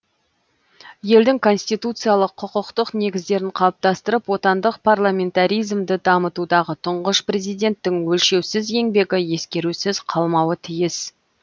елдің конституциялық құқықтық негіздерін қалыптастырып отандық парламентаризмді дамытудағы тұңғыш президенттің өлшеусіз еңбегі ескерусіз қалмауы тиіс